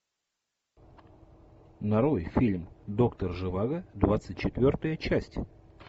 нарой фильм доктор живаго двадцать четвертая часть